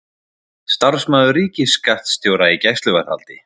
Starfsmaður ríkisskattstjóra í gæsluvarðhaldi